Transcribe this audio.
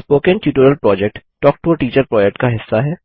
spoken tutorial project talk to a teacher project का हिस्सा है